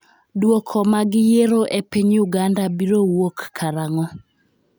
dwoko mag yiero e piny Uganda biro wuok karanag'o ?